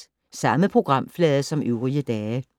Samme programflade som øvrige dage